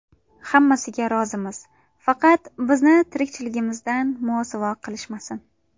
Hammasiga rozimiz, faqat bizni tirikchiligimizdan mosuvo qilishmasin”.